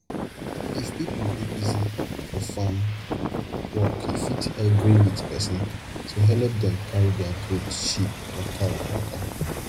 if pipo dey busy for farm work you fit gree with person to helep dem carry their goat sheep or cow waka